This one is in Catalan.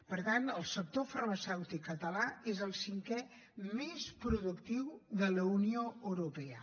per tant el sector farmacèutic català és el cinquè més productiu de la unió europea